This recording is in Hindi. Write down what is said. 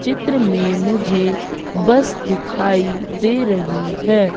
चित्र में मुझे बस दिखाई दे रही है।